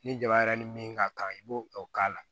Ni jaba yɛrɛ ni min ka kan i b'o o k'a la